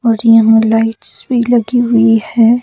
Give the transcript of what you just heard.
और यहां लाइट्स भी लगी हुई है।